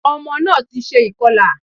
Ọmọ náà ti se ìkọlà